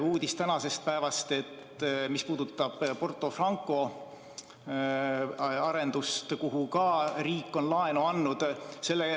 Üks tänane uudis puudutab Porto Franco arendust, milleks ka riik on laenu andnud.